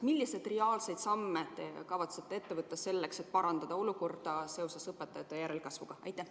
Milliseid reaalseid samme te kavatsete ette võtta selleks, et parandada rasket olukorda seoses õpetajate vähese järelkasvuga?